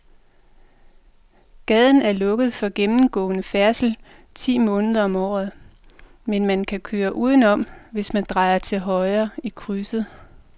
Gaden er lukket for gennemgående færdsel ti måneder om året, men man kan køre udenom, hvis man drejer til højre i krydset.